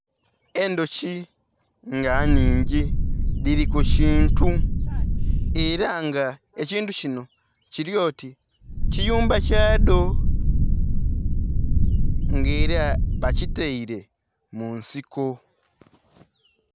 Endhuki nga nhingi dhili kukintu era nga ekintu kinho kilyo oti kiyumba kyadho nga era bakiteire munsiko.